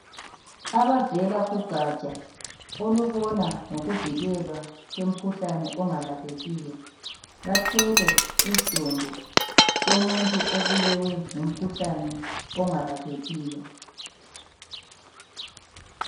Abavela kugatsha olubona ngokuvikelwa kwemikhuhlane ongalaphekiyo bathwele isidumbu somuntu obulewe ngumkhuhlane ongalaphekiyo.